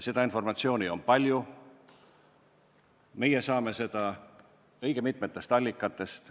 Seda informatsiooni on palju, meie oleme seda saanud õige mitmest allikast.